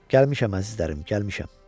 Gəlmişəm əzizlərim, gəlmişəm.